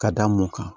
Ka da mun kan